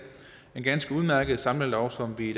en ganske udmærket samlelov som vi i